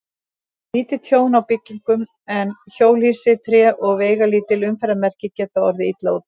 Lítið tjón á byggingum, en hjólhýsi, tré og veigalítil umferðarmerki geta orðið illa úti.